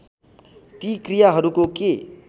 ती क्रियाहरूको के